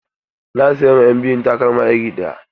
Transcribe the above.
Na sayan ma ƴan biyun takalma iri ɗaya.